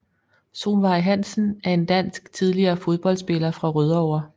Solveig Hansen er en dansk tidligere fodboldspiller fra Rødovre